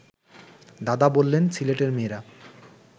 দাদা বললেন সিলেটের মেয়েরা